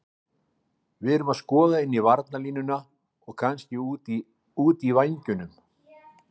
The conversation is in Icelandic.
Við erum að skoða inn í varnarlínuna og kannski út í vængjunum.